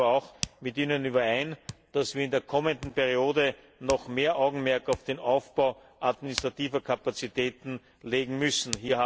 Ich stimme aber auch mit Ihnen überein, dass wir in der kommenden Periode noch mehr Augenmerk auf den Aufbau administrativer Kapazitäten legen müssen.